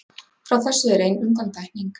Frá þessu er ein undantekning.